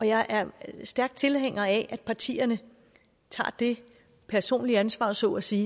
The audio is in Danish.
jeg er stærk tilhænger af at partierne tager det personlige ansvar der så at sige